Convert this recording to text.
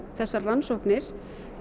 þessar rannsóknir